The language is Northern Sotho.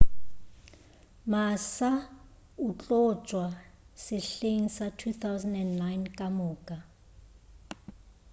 massa o tlo tšwa sehleng sa 2009 kamoka